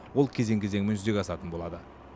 ол кезең кезеңімен жүзеге асатын болады